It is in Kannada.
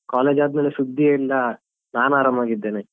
College ಆದ್ಮೇಲೆ ಸುದ್ದಿಯೇ ಇಲ್ಲಾ ನಾನ್ ಆರಾಮಾಗಿದ್ದೇನೆ.